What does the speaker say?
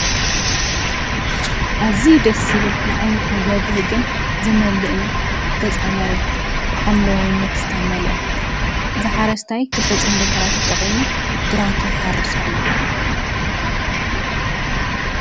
እዝዩ ደስ ዝብል ንዓይኒኻ ዘብህግን ዝምልእን ገፀ መሬት ብሓምለዋይነት ዝተመልአ ዝሓረስታይ ክልተ ፅምዲ ብዕራይ ተጠቒሙ ግራቱ ይሓርስ ኣሎ።